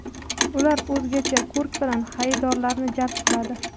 Ular o‘zgacha ko‘rki bilan xaridorlarni jalb qiladi.